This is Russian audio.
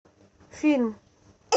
фильм